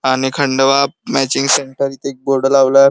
आणि Khandwa matching centre इथे एक बोर्ड लावला --